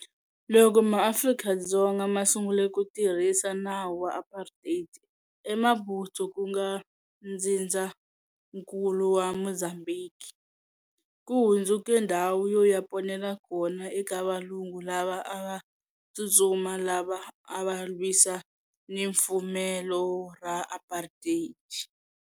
Loko MaAfrika-Dzonga ma sungule ku tirhisa nawu wa Apartheid, eMaputo, ku nga ntsindzankulu wa Mozambhiki, ku hundzuke ndhawu yo ya ponela kona eka valungu lava a va tsutsuma lava a va lwisana ni fumelo ra Apartheid.